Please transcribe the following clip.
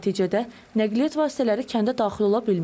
Nəticədə nəqliyyat vasitələri kəndə daxil ola bilmir.